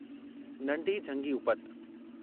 नंढी झंगी उपति